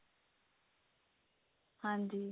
ਹਾਂਜੀ